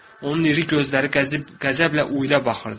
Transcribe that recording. Onun iri gözləri qəzəblə Uyla baxırdı.